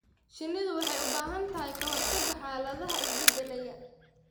Shinnidu waxay u baahan tahay ka-hortagga xaaladaha isbedelaya.